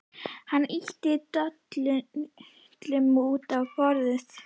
Hann ýtti dollunum út á borðið.